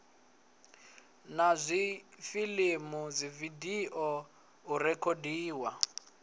na dzifilimu dzividio u rekhodiwa